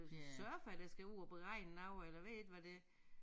Surfere der skal ud og beregne noget eller ved ikke hvad det